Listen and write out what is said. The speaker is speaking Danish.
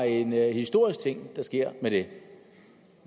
en historisk ting der sker